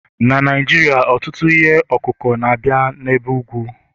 na Naijiria, ọtụtụ ihe ọkụkụ na-abịa n'ebe ugwu